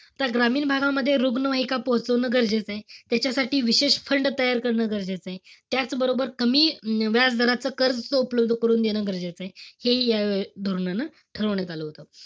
त्या ग्रामीण भागामध्ये रुग्णवाहिका पोहोचवणं गरजेचंय. त्याच्यासाठी विशेष fund तयार करणं गरजेचंय. त्याचबरोबर, कमी व्याजदराच कर्ज उपलब्ध करून देणं, गरजेचंय. हे हि या धोरणानं ठरवण्यात आलं होतं.